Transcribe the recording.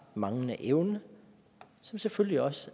manglende evne som selvfølgelig også